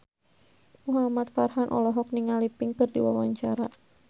Muhamad Farhan olohok ningali Pink keur diwawancara